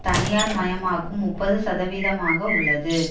தனியார் மயமாக்கும் முப்பதுசதவிகிதமாக உள்ளது